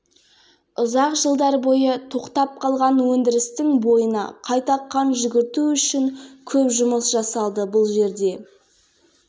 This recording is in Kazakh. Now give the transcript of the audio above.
асқанда мың тұрақты жұмыс орны пайда болады шалқияда жылы миллион ал жылы миллион тонна руда